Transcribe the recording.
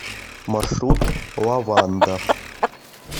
маршрут лаванда